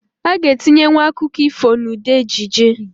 A ga etinye nwu akụkụ ifo n'ụdị ejije